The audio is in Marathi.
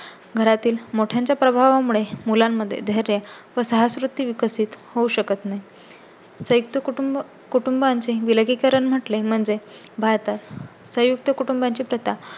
घरातील मोठ्यांचा प्रभावा मुळे मुलांमध्ये धैर्य व साहस वृत्ती विकसित होऊ शकत नाही. संयुक्त कुटुंबाचे विलगीकरण म्हटलें म्हणजे भारतात संयुक्त कुटुंबा ची प्रथा